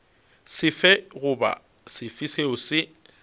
sefe goba sefe seo se